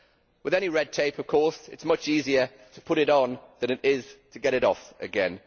With any red tape, of course, it is much easier to put in on than it is to get it off again.